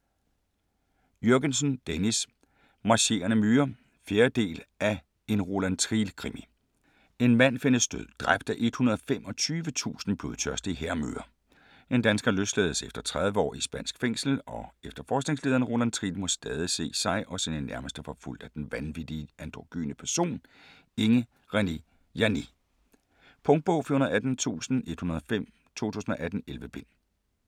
Jürgensen, Dennis: Marcherende myrer 4. del af En Roland Triel krimi. En mand findes død, dræbt af 125.000 blodtørstige hærmyrer. En dansker løslades efter 30 år i spansk fængsel, og efterforskningslederen Roland Triel må stadig se sig og sine nærmeste forfulgt af den vanvittige androgyne person, Inge Renee Janné. Punktbog 418105 2018. 11 bind.